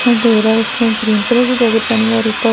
option तेराह उसने green colour कि जैकेट पहनी हैं और उपर--